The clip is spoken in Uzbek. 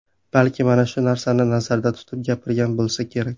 Balki mana shu narsani nazarda tutib gapirgan bo‘lsa kerak.